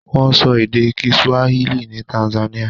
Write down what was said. Wọ́n sọ èdè kiswahili ní Tanzania.